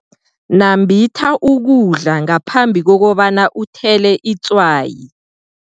Nambitha ukudla ngaphambi kobana uthele itswayi.